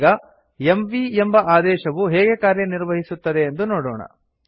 ಈಗ ಎಂವಿ ಎಂಬ ಆದೇಶವು ಹೇಗೆ ಕಾರ್ಯನಿರ್ವಹಿಸುತ್ತದೆ ಎಂದು ನೊಡೋಣ